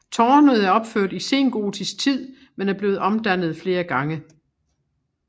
Tårnet er opført i sengotisk tid men er blevet omdannet flere gange